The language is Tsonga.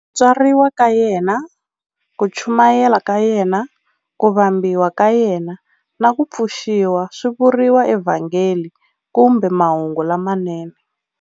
Ku tswariwa ka yena, ku chumayela ka yena, ku vambiwa ka yena, na ku pfuxiwa swi vuriwa eVhangeli kumbe Mahungu lamanene.